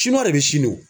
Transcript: de bɛ sini o